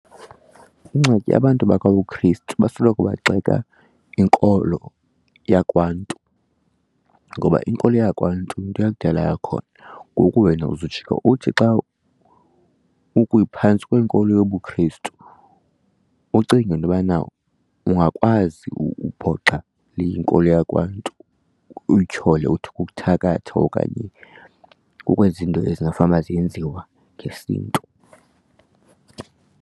Ingxaki abantu bakwabuKhrestu basoloko begxeka inkolo yakwaNtu. Ngoba inkolo yakwaNtu yinto eyakudala yakhona, ngoku wena uzawujika uthi xa ukwiphantsi kwenkolo yobuKhrestu ucinge intobana ungakwazi ubhoxa le inkolo yakwaNtu uyityhole uthi kukuthakatha okanye kukwenza iinto ezingafanuba ziyenziwa ngesiNtu.